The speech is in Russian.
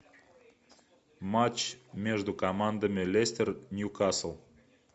матч между командами лестер ньюкасл